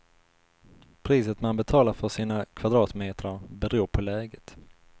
Priset man betalar för sina kvadratmetrar beror på läget.